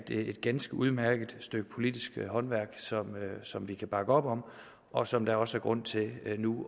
et ganske udmærket stykke politisk håndværk som vi kan bakke op om og som der også er grund til nu